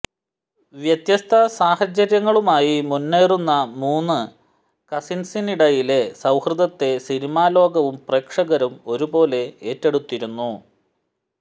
വ്യത്യസ്ത സാഹചര്യങ്ങളുമായി മുന്നേറുന്ന മൂന്ന് കസിന്സിനിടയിലെ സൌഹൃദത്തെ സിനിമാലോകവും പ്രേക്ഷകരും ഒരുപോലെ ഏറ്റെടുത്തിരുന്നു